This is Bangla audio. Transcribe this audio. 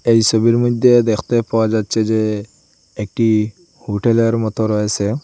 এই সবির মইদ্যে দেখতে পাওয়া যাচ্ছে যে একটি হোটেলের মতো রয়েসে।